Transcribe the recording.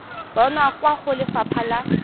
bonwa kwa go lefapha la